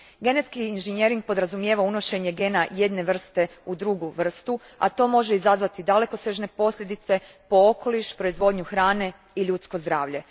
Genetski inženjering podrazumijeva unošenje gena jedne vrste u drugu vrstu, a to može izazvati dalekosežne posljedice po okoliš, proizvodnju hrane i ljudsko zdravlje.